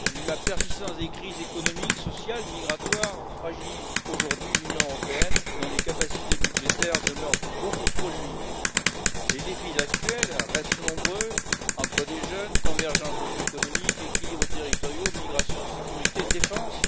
La persistance des crises économique, sociale et migratoire fragilise aujourd'hui l'Union européenne, dont les capacités budgétaires demeurent beaucoup trop limitées. Les défis actuels restent nombreux emploi des jeunes, convergence socio économique, équilibres territoriaux, migration, sécurité, défense.